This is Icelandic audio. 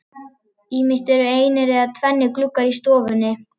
Ýmist voru einir eða tvennir gluggar á stofunni.